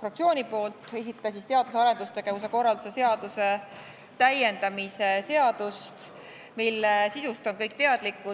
fraktsiooni nimel teadus- ja arendustegevuse korralduse seaduse täiendamise seadus, mille sisust on kõik teadlikud.